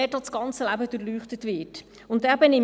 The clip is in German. Das ganze Leben wird durchleuchtet.